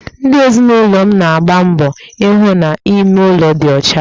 Ndi ezinụlọ m na-agba mbọ ihụ na ime ụlọ dị ọcha